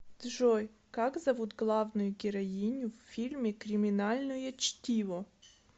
джой как зовут главную героиню в фильме криминальное чтиво